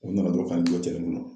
U nana dɔrɔn ka n jɔ cɛrɛ kɔnɔ